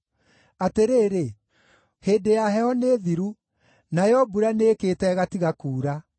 Atĩrĩrĩ! Hĩndĩ ya heho nĩ thiru; nayo mbura nĩĩkĩĩte ĩgatiga kuura.